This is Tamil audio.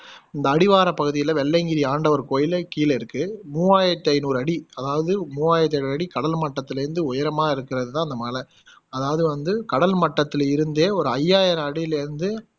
இந்த அடிவார பகுதியில வெள்ளையங்கிரி ஆண்டவர் கோயிலேக் கீழ இருக்கு மூவாயிரத்தி ஐந்நூறு அடி அதாவது மூவாயிரத்தி ஐந்நூறு அடி கடல் மட்டத்துல இருந்து உயரமா இருக்குறது தான் இந்த மலை அதாவது வந்து கடல் மட்டத்துல இருந்தே ஒரு ஐயாயிரம் அடியிலே இருந்து